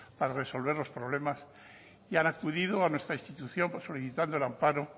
al resolver los problemas han acudido a nuestra institución solicitando el amparo